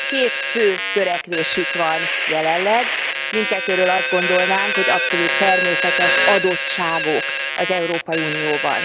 Két fő törekvésük van jelenleg, mindkettőről azt gondolnánk, hogy abszolút természetes adottságok az Európai Unióban.